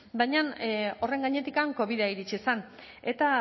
baina horren gainetik covida iritsi izen eta